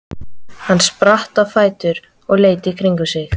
Hann spratt á fætur og leit í kringum sig.